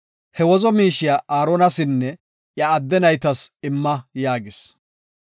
He wozo miishiya Aaronasinne iya adde naytas imma” yaagis.